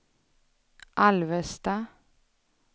Alvesta